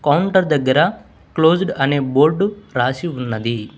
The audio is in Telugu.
కౌంటర్ దగ్గర క్లోజ్డ్ అనే బోర్డు రాసి ఉన్నది.